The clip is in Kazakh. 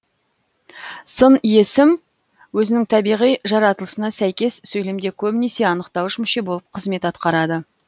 сын есім өзінің табиғи жаратылысына сәйкес сөйлемде көбінесе анықтауыш мүше болып қызмет атқарады